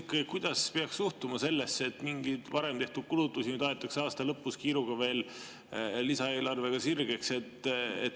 Ma küsin, kuidas peaks suhtuma sellesse, et mingeid varem tehtud kulutusi nüüd aetakse aasta lõpus kiiruga veel lisaeelarvega sirgeks.